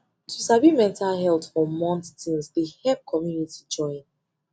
to sabi mental health for month things de help community join